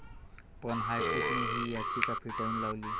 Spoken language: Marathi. पण हायकोर्टाने ही याचिका फेटाळून लावली.